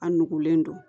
A nugulen don